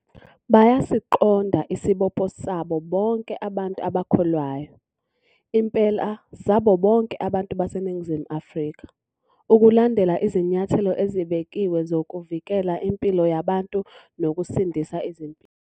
Bayasiqonda isibopho sabo bonke abantu abakholwayo - impela sabo bonke abantu baseNingizimu Afrika - ukulandela izinyathelo ezibekiwe zokuvikela impilo yabantu nokusindisa izimpilo.